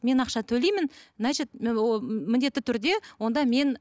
мен ақша төлеймін значить міндетті түрде онда мен